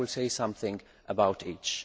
I will say something about each.